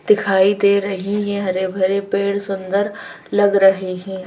दिखाई दे रही हैं हरे भरे पेड़ सुंदर लग रहे हैं।